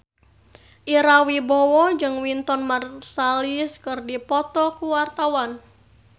Ira Wibowo jeung Wynton Marsalis keur dipoto ku wartawan